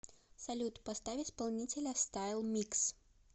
салют поставь исполнителя стайл микс